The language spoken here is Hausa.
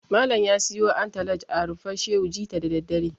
Malam ya siyo antalaj a Rumfar Shehu jita da daddare.